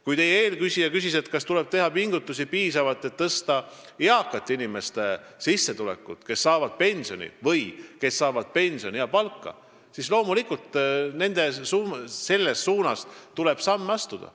Kui teie eelküsija küsis, kas tuleb teha piisavalt pingutusi, et tõsta nende eakate sissetulekut, kes saavad pensioni või pensioni ja palka, siis loomulikult tuleb selles suunas samme astuda.